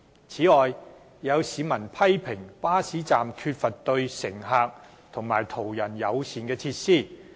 此外，有市民批評巴士站缺乏對乘客及途人友善的設施。